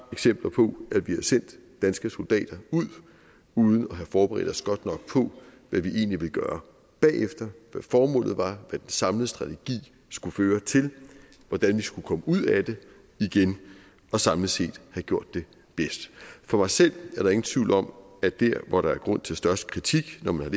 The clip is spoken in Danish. eksempler på at vi har sendt danske soldater ud uden at have forberedt os godt nok på hvad vi egentlig ville gøre bagefter hvad formålet var hvad den samlede strategi skulle føre til hvordan vi skulle komme ud af det igen og samlet set have gjort det bedst for mig selv er der ingen tvivl om at der hvor der er grund til størst kritik når man har